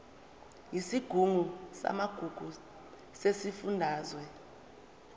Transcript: yesigungu samagugu sesifundazwe